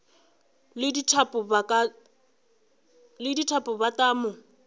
le dithapo ba tla mo